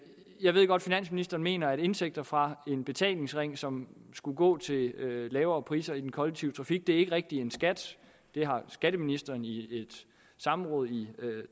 jeg ved godt finansministeren mener at indtægter fra en betalingsring som skulle gå til lavere priser i den kollektive trafik ikke rigtig er en skat skatteministeren så i et samråd i